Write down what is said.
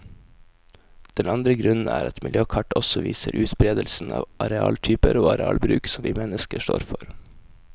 Den andre grunnen er at miljøkart også viser utberedelsen av arealtyper og arealbruk som vi mennesker står for.